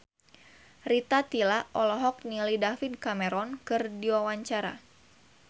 Rita Tila olohok ningali David Cameron keur diwawancara